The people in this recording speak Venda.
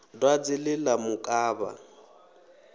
dwadze ḽe ḽa mu kavha